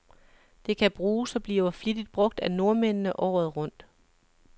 Det kan bruges, og bliver flittigt brug af nordmændene, året rundt.